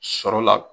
Sɔrɔ la